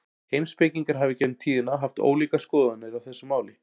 Heimspekingar hafa í gegnum tíðina haft ólíkar skoðanir á þessu máli.